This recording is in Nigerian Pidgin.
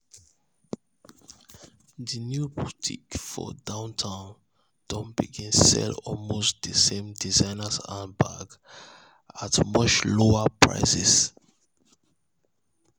di new boutique for downtown don begin sell almost d same designer handbags at much lower price.